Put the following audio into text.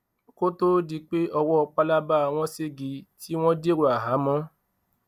kó tó di pé ọwọ́ pálábá wọn ṣégi tí wọ́n dèrò àhámọ́